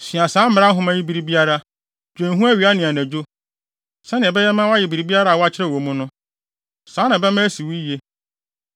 Sua saa Mmara Nhoma yi bere biara. Dwen ho awia ne anadwo, sɛnea ɛbɛma woayɛ biribiara a wɔakyerɛw wɔ mu no. Saa na ɛbɛma asi wo yiye.